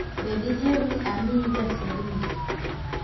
Be diher ni amiyi gasedni?